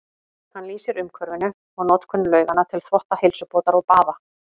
Hann lýsir umhverfinu og notkun lauganna til þvotta, heilsubótar og baða.